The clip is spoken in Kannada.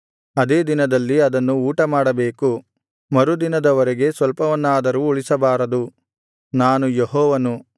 ಅದೇ ದಿನದಲ್ಲಿ ಅದನ್ನು ಊಟಮಾಡಬೇಕು ಮರುದಿನದ ವರೆಗೆ ಸ್ವಲ್ಪವನ್ನಾದರೂ ಉಳಿಸಬಾರದು ನಾನು ಯೆಹೋವನು